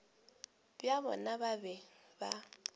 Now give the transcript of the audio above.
bja bona ba be ba